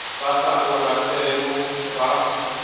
ba sa o ratego ba